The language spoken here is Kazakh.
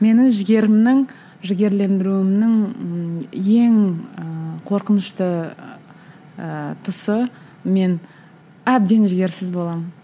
менің жігерімнің жігерлендіруімнің ммм ең ыыы қорқынышты ыыы тұсы мен әбден жігерсіз боламын